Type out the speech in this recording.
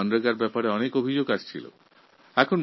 এই প্রকল্পের প্রদত্ত অর্থের বিষয়ে নানান অভিযোগ আসছিল